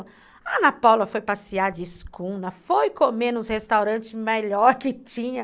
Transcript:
A Ana Paula foi passear de escuna, foi comer nos restaurantes melhor que tinha.